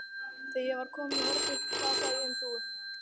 Þegar ég var komin í hornið hrasaði ég um hrúgu.